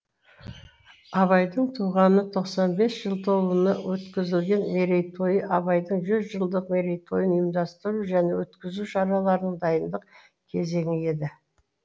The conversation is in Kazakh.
абайдың туғанына тоқсан бес жыл толуына өткізілген мерейтойы абайдың жүз жылдық мерейтойын ұйымдастыру және өткізу шараларының дайындық кезеңі еді